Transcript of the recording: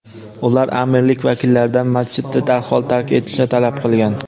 Ular amirlik vakillaridan masjidni darhol tark etishni talab qilgan.